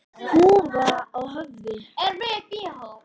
Húfa á höfði.